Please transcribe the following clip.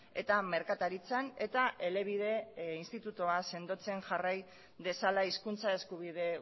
eta merkataritzan eta elebide institutua sendotzen jarrai dezala hizkuntza eskubide